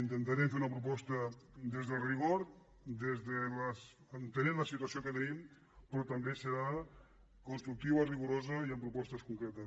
intentarem fer una proposta des del rigor entenent la situació que tenim però tam bé serà constructiva rigorosa i amb propostes con cretes